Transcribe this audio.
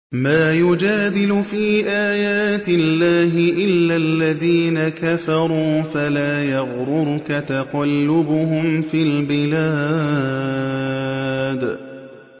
مَا يُجَادِلُ فِي آيَاتِ اللَّهِ إِلَّا الَّذِينَ كَفَرُوا فَلَا يَغْرُرْكَ تَقَلُّبُهُمْ فِي الْبِلَادِ